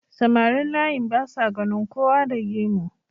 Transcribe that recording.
samarin layin basa ganin kowa da gemu